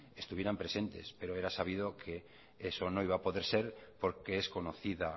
estuvieran presentes pero era sabido que eso no iba a poder ser porque es conocida